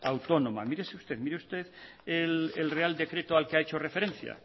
autónoma mírese usted mire usted el real decreto al que ha hecho referencia